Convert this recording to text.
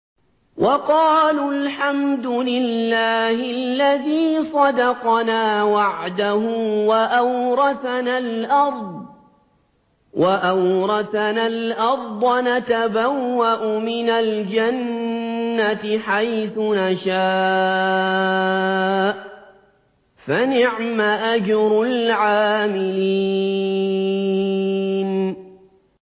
وَقَالُوا الْحَمْدُ لِلَّهِ الَّذِي صَدَقَنَا وَعْدَهُ وَأَوْرَثَنَا الْأَرْضَ نَتَبَوَّأُ مِنَ الْجَنَّةِ حَيْثُ نَشَاءُ ۖ فَنِعْمَ أَجْرُ الْعَامِلِينَ